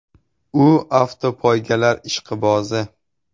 U avtopoygalar ishqibozi.